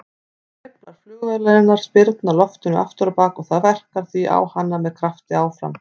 Hreyflar flugvélarinnar spyrna loftinu afturábak og það verkar því á hana með krafti áfram.